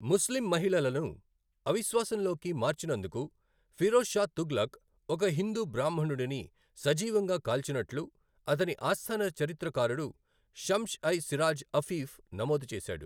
ముస్లిం మహిళలను అవిశ్వాసంలోకి మార్చినందుకు ఫిరోజ్ షా తుగ్లక్ ఒక హిందూ బ్రాహ్మణుడిని సజీవంగా కాల్చినట్లు అతని ఆస్థాన చరిత్రకారుడు షమ్స్ ఐ సిరాజ్ అఫీఫ్ నమోదు చేశాడు.